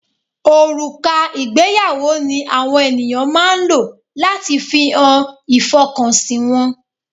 Òrùka ìgbéyàwó ni àwọn ènìyàn máa ń lò láti fi hàn ìfọkànsìn wọn.